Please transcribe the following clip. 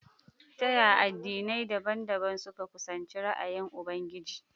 Ta yaya addinai dabam-dabam suka kusanci ra’ayin Ubangiji?